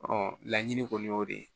laɲini kɔni y'o de ye